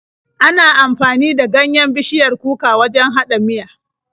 Ana amfani da ganyen bishiyar kuka wajen haɗa miya.